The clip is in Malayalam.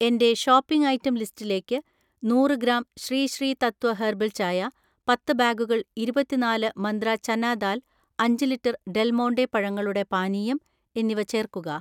"എന്‍റെ ഷോപ്പിംഗ് ഐറ്റം ലിസ്റ്റിലേക്ക് നൂറ് ഗ്രാം ശ്രീ ശ്രീ തത്വ ഹെർബൽ ചായ, പത്ത് ബാഗുകൾ ഇരുപത്തിനാല് മന്ത്ര ചന ദാൽ അഞ്ച് ലിറ്റർ ഡെൽമോണ്ടെ പഴങ്ങളുടെ പാനീയം എന്നിവ ചേർക്കുക"